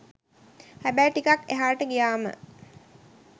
හැබැයි ටිකක් එහාට ගියාම